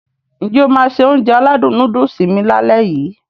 N jẹ́ o máá se Ounjẹ aládùn nóódùsì mi lálẹ́ yii?